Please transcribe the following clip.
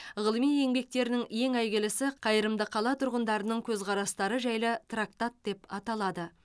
ғылыми еңбектерінің ең әйгілісі қайырымды қала тұрғындарының көзқарастары жайлы трактат деп аталады